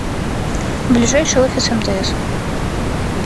ближайший офис мтс